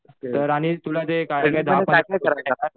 आणि ते तुला ते